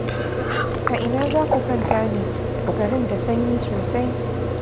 A ina za ku kwanta ne? Garin da sanyi sosai.